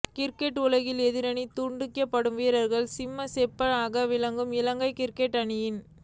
cricket உலகில் எதிரணி துடுப்பாட்ட வீரர்களுக்கு சிம்ம சொப்பனமாக விளங்கும் இலங்கை கிரிக்கெட் அணியின